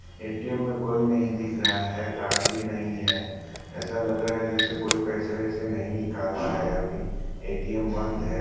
ATM में कोई नहीं दिख रहा है। गार्ड भी नहीं है। ऐसा लग रहा है जैसे कोई पैसे-वैसे नहीं निकाल रहा है अभी। ए_टी_एम बंद है।